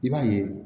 I b'a ye